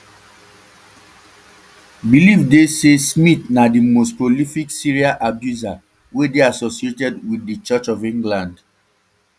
believe dey say smyth na di most prolific serial abuser wey dey associated um wit di church of england